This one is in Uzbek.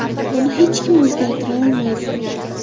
Uni hech kim o‘zgartira olmaydi.